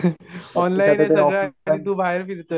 Online आहे सगळं आणि तु बाहेर फिरतोय.